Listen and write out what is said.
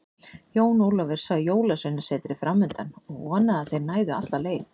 Jón Ólafur sá Jólasveinasetrið framundan og vonaði að þeir næðu alla leið.